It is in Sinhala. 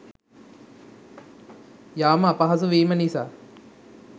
යාම අපහසු වීම නිසා.